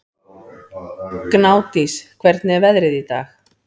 Gnádís, hvernig er veðrið í dag?